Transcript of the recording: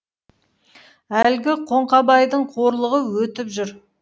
әлгі қоңқабайдың қорлығы өтіп жүр